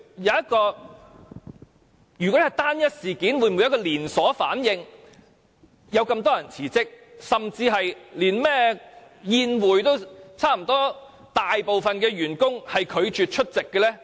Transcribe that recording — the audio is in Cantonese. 如果這是單一事件，為何會出現連鎖反應，引發多人辭職，甚至差不多大部分員工拒絕出席那個甚麼宴會？